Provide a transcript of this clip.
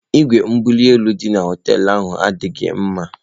Igwe mbuli elu dị na họteelu ahụ adịghị mma.